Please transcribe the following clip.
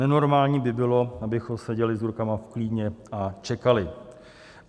Nenormální by bylo, abychom seděli s rukama v klíně a čekali.